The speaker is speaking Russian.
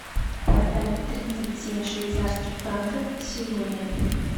продать тридцать семь швейцарских франков сегодня